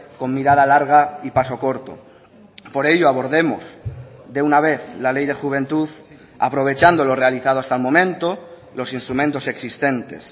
con mirada larga y paso corto por ello abordemos de una vez la ley de juventud aprovechando lo realizado hasta el momento los instrumentos existentes